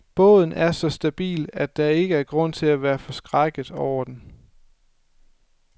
Båden er så stabil, at der ikke er grund til at være forskrækket over den.